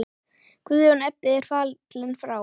Guðjón Ebbi er fallinn frá.